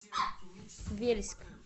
вельск